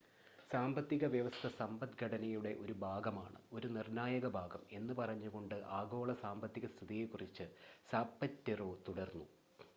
"""സാമ്പത്തിക വ്യവസ്ഥ സമ്പദ്ഘടനയുടെ ഒരു ഭാഗമാണ് ഒരു നിർണ്ണായക ഭാഗം" എന്ന് പറഞ്ഞുകൊണ്ട് ആഗോള സാമ്പത്തിക സ്ഥിതിയെക്കുറിച്ച് സാപറ്റെറോ തുടർന്നു.